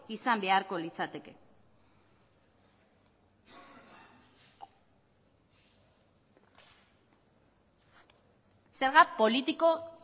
izan beharko litzateke zerga politiko